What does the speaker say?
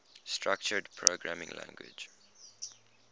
structured programming languages